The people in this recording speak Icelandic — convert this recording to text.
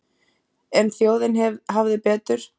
En þjóðin hafði betur.